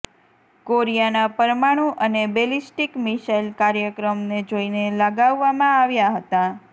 કોરિયાના પરમાણુ અને ballistic missile કાર્યક્રમને જોઈને લગાવવામાં આવ્યાં હતાં